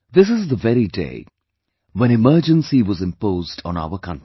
This is the very day when Emergency was imposed on our country